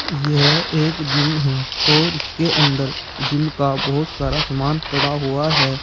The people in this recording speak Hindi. ये एक जिम है और उसके अंदर जिम का बोहोत सारा सामान पड़ा हुआ है।